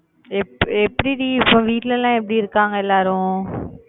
எப்~ எப்படி டி, இப்ப வீட்ல எல்லாம் எப்படி இருக்காங்க எல்லாரும்?